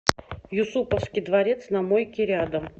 юсуповский дворец на мойке рядом